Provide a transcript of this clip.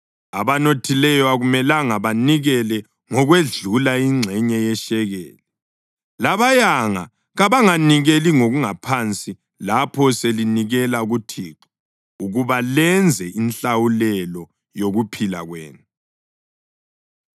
Abanothileyo akumelanga banikele ngokwedlula ingxenye yeshekeli, labayanga kabanganikeli ngokungaphansi lapho selinikela kuThixo ukuba lenze inhlawulelo yokuphila kwenu.